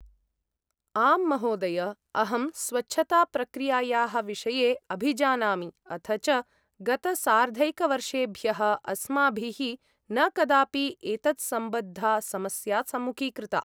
आम् महोदय, अहं स्वच्छताप्रक्रियायाः विषये अभिजानामि अथ च गतसार्धैकवर्षेभ्यः अस्माभिः न कदापि एतत्सम्बद्धा समस्या सम्मुखीकृता।